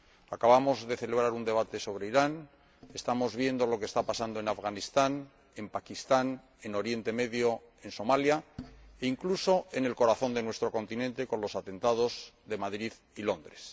Acabamos de celebrar un debate sobre Irán, estamos viendo lo que está pasando en Afganistán, en Pakistán, en Oriente Medio, en Somalia e incluso lo que sucedió en el corazón de nuestro continente con los atentados de Madrid y Londres.